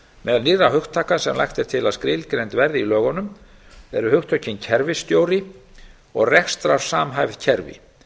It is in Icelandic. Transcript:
meðal nýrra hugtaka sem lagt er til að skilgreind verði í lögunum eru hugtökin kerfisstjóri og rekstrarsamhæfð kerfi